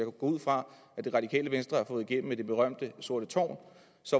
ud fra det radikale venstre har fået igennem i det berømte sorte tårn